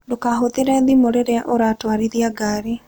Ndũkahũthĩre thimũ rĩrĩa ũratwarithia ngari.